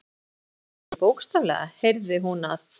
Ég meinti það nú kannski ekki bókstaflega, heyrði hún að